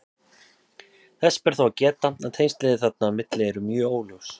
Þess ber þó að geta að tengslin þarna á milli eru mjög óljós.